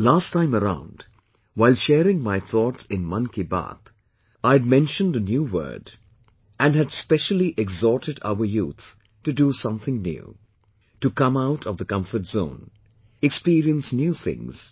Last time around while sharing my thoughts in Mann ki Baat I had mentioned a new word and had specially exhorted our youth to do something new, to come out of the comfort zone, experience new things;